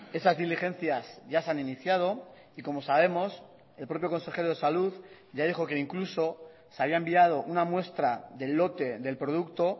esas diligencias ya se han iniciado y como sabemos el propio consejero de salud ya dijo que incluso se había enviado una muestra del lote del producto